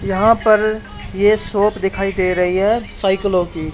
यहां पर ये शॉप दिखाई दे रही है साइकिलों की।